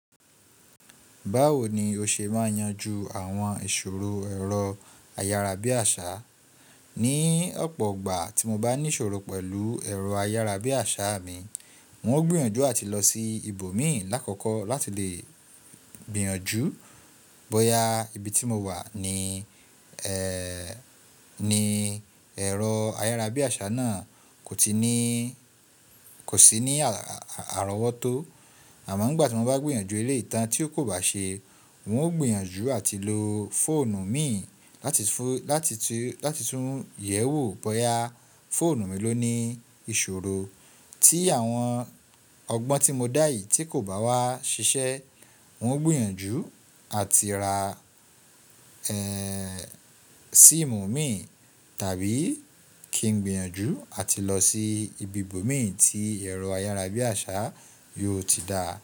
Báwo ni o ṣe máa yanjú àwọn ìṣòro ẹ̀rọ ayárabíàṣá. Ni ọ̀pọ̀ ọgbà tí mo bá ní ìṣòro pẹ̀lú ẹ̀rọ ayárabíàṣá mi, wọ́n ó gbìyànjú àti lọ sí ibòmínùn lákòókò láti lè gbìyànjú bóyá ibi tí mo wà ní ẹ̀rọ ayárabíàṣá náà kò sí ní àrọ́wọ́tó àmọ́ ìgbà tí wọ́n bá gbìyànjú eleyii ìtàn tí ó kò bá ṣe, n ó gbìyànjú àti lo fóònù mi láti tún yẹ̀wò bóyá fóònù mi ló ní ìṣòro tí àwọn ọgbọ́n tí mo dá yìí tí kò bá wá ṣiṣẹ́ n ó gbìyànjú àti ra síìmù mi tàbí kí n gbìyànjú àti lọ sí ibi ibòmí tí ẹ̀rọ ayárabíàṣá yóò ti dáa.